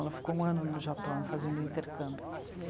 Ela ficou um ano no Japão, fazendo intercâmbio.